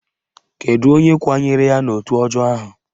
Kedu onye kwanyere ya n'otu ọjọọ ahụ?